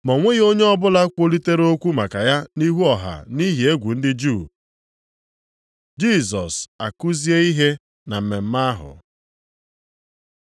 Ma o nweghị onye ọbụla kwulitere okwu maka ya nʼihu ọha nʼihi egwu ndị Juu. Jisọs a kuzie ihe na mmemme ahụ